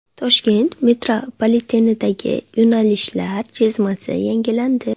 Toshkent metropolitenidagi yo‘nalishlar chizmasi yangilandi.